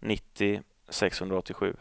nittio sexhundraåttiosju